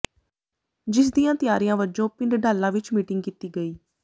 ਜਿਸ ਦੀਆਂ ਤਿਆਰੀਆਂ ਵਜੋਂ ਪਿੰਡ ਡਾਲਾ ਵਿੱਚ ਮੀਟਿੰਗ ਕੀਤੀ ਗਈ